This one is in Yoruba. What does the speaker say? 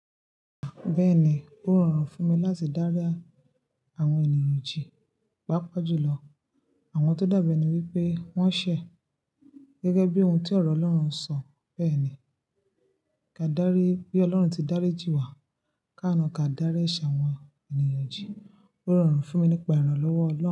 Bẹ́ẹ̀ni, ó rọrùn fún mi láti dára àwọn ènìyàn jì. Pápa jùlọ àwọn tó dábẹ́ ni wípé wọ́n ṣẹ̀ gẹ́gẹ́ bí ohun tí ọ̀rọ̀ Ọlọ́run sọ. Bẹ́ẹ̀ ni, ka dárí bí Ọlọ́run ti dárí jì wá. Káàna ka dárí ṣẹ̀ àwọn ènìyàn jì. Ó rọrùn fún mi nípa ìrànlọ́wọ́ Ọlọ́run.